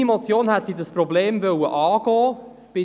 Meine Motion hätte dieses Problem angehen wollen.